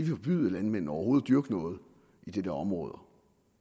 forbyde landmændene overhovedet at dyrke noget i de områder